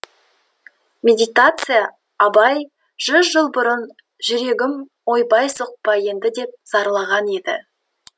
медитация абай жүз жыл бұрын жүрегім ойбай соқпа енді деп зарланған еді